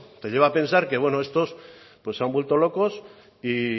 te lleva a pensar que bueno estos pues se han vuelto locos y